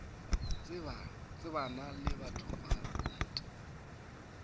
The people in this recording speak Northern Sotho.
tsebana le batho ba bant